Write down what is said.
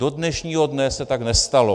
Do dnešního dne se tak nestalo.